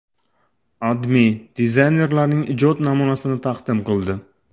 AdMe dizaynerlarning ijod namunasini taqdim qildi .